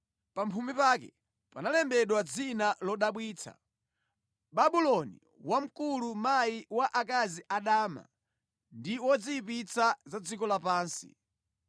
Pa mphumi pake panalembedwa dzina lodabwitsa: BABULONI WAMKULU MAYI WA AKAZI ADAMA NDI WAZOYIPITSA ZA DZIKO LAPANSI.